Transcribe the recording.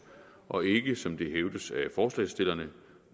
og ikke som det hævdes af forslagsstillerne